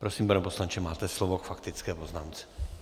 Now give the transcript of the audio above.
Prosím, pane poslanče, máte slovo k faktické poznámce.